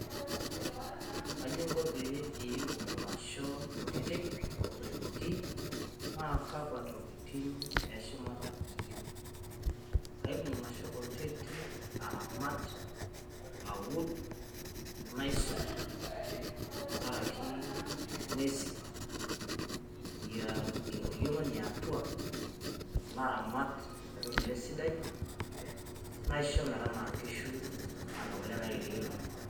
kaibung ilasho kutitik aramat, aud, nasuj tenkaraki inguesi ye oriong we niatua naisho metanaa inkishu aisho kule naanarikino.